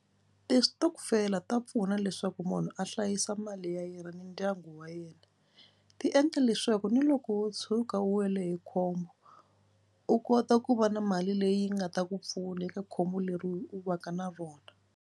Ti-stokvel-a ta pfuna leswaku munhu a hlayisa mali ya yena ni ndyangu wa yena. Ti endla leswaku ni loko wo tshuka u wele hi khombo u kota ku va na mali leyi nga ta ku pfuna eka khombo leri u va ka na rona.